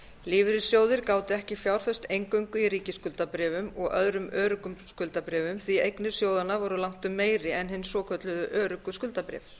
lífeyrissjóðir gátu ekki fjárfest eingöngu í ríkisskuldabréfum og öðrum öruggum skuldabréfum því eignir sjóðanna voru langtum meiri en hin svokölluðu öruggu skuldabréf